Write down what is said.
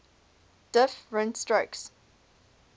diff rent strokes